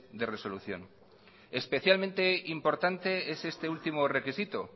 de resolución especialmente importante es este último requisito